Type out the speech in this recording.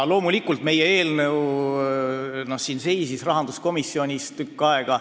Loomulikult seisis meie eelnõu siin rahanduskomisjonis tükk aega.